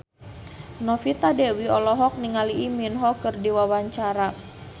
Novita Dewi olohok ningali Lee Min Ho keur diwawancara